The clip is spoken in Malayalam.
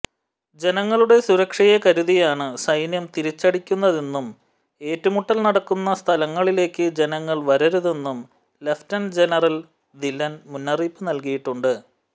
ജനങ്ങളുടെ സുരക്ഷയെക്കരുതിയാണ് സൈന്യം തിരിച്ചടിക്കുന്നതെന്നും ഏറ്റുമുട്ടൽ നടക്കുന്ന സ്ഥലങ്ങളിലേക്ക് ജനങ്ങൾ വരരുതെന്നും ലഫ്റ്റനന്റ് ജനറൽ ധില്ലൻ മുന്നറിയിപ്പ് നൽകിയിട്ടുണ്ട്